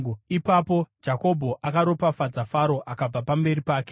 Ipapo Jakobho akaropafadza Faro akabva pamberi pake.